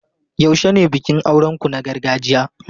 Yaushe ne bikin auren ku na gargajiya?